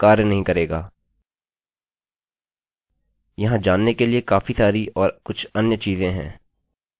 यहाँ जानने के लिए काफी सारी और कुछ अन्य चीज़ें हैं